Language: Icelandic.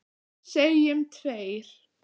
Segjum tveir.